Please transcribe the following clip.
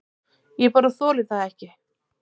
Ég bara þoli það ekki.